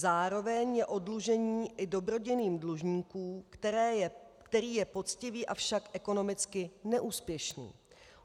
Zároveň je oddlužení i dobrodiním dlužníka, který je poctivý, avšak ekonomicky neúspěšný.